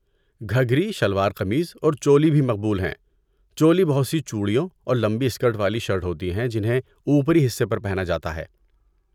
گھگھری، شلوار قمیض اور چولی بھی مقبول ہیں۔ چولی بہت سی چوڑیوں اور لمبی اسکرٹ والی شرٹ ہوتی ہیں جنہیں اوپری حصے پر پہنا جاتا ہے۔